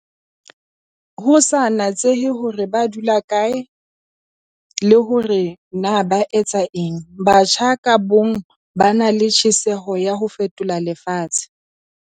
Ho sa natsehe hore na ba dula hokae le hore na ba etsa eng, batjha ka bomong ba na le tjheseho ya ho fetola lefatshe.